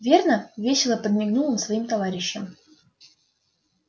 верно весело подмигнул он своим товарищам